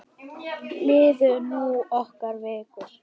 Liðu nú nokkrar vikur.